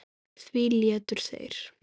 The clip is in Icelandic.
Því létu þeir